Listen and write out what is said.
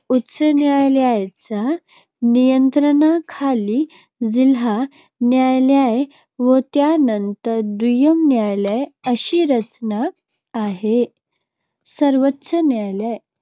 उच्च न्यायालयांच्या नियंत्रणाखाली जिल्हा न्यायालये व त्यानंतर दुय्यम न्यायालये अशी रचना आहे. सर्वोच्च न्यायालय